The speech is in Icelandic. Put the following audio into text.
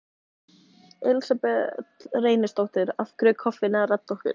Elísabet Reynisdóttir: Af hverju er koffínið að redda okkur?